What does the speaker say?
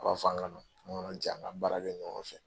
A b'a fɔ an kana nko jɛn an ka baara kɛ ɲɔgɔn fɛ.